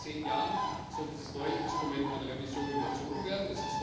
Denn erst in zehn Jahren soll dieses neue Instrument einer Revision unterzogen werden.